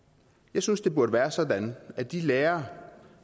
jeg synes det burde være sådan at de lærere